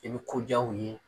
I bi koja u ye.